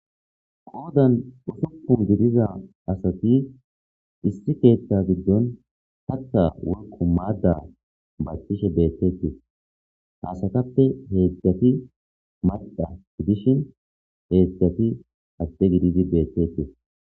Qooddan uusupun gidiza asati issi keeththa giddon hatta woykko maadda bathtishshe beetees haysatappe heedzdzafi madhdha gidishin heedzdzati ade gididi beettees